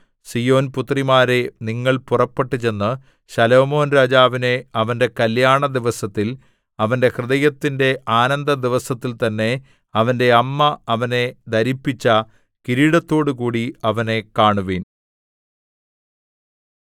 സീയോൻ പുത്രിമാരേ നിങ്ങൾ പുറപ്പെട്ടു ചെന്ന് ശലോമോൻരാജാവിനെ അവന്റെ കല്യാണ ദിവസത്തിൽ അവന്റെ ഹൃദയത്തിന്റെ ആനന്ദദിവസത്തിൽ തന്നെ അവന്റെ അമ്മ അവനെ ധരിപ്പിച്ച കിരീടത്തോടുകൂടി അവനെ കാണുവിൻ